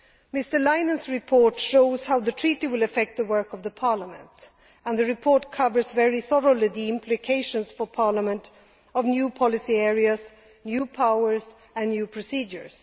Mr Leinen's report shows how the Treaty will affect the work of Parliament, and the report covers very thoroughly the implications for Parliament of new policy areas, new powers and new procedures.